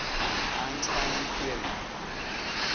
einstein theory